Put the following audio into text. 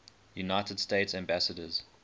united states ambassadors